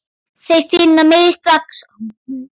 Þeir finna mig strax.